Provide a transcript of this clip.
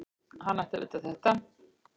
Hann ætti að vita það.